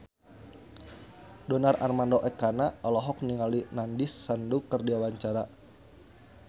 Donar Armando Ekana olohok ningali Nandish Sandhu keur diwawancara